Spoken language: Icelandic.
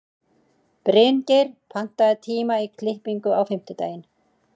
Bryngeir, pantaðu tíma í klippingu á fimmtudaginn.